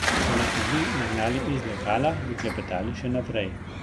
Če nas ne bi nagnali iz lokala, bi klepetali še naprej.